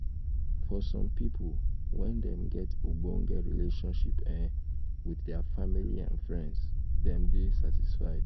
for some pipo when dem get ogbonge relationship um with their family and um friends dem dey satisfied